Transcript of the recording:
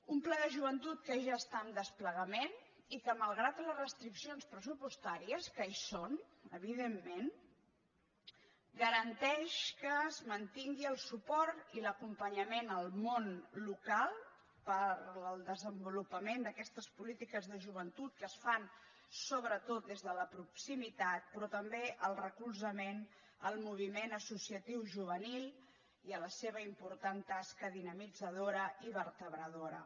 un pla de joventut que ja està en desplegament i que malgrat les restriccions pressupostàries que hi són evidentment garanteix que es mantingui el suport i l’acompanyament al món local per al desenvolupament d’aquestes polítiques de joventut que es fan sobretot des de la proximitat però també el recolzament al moviment associatiu juvenil i a la seva important tasca dinamitzadora i vertebradora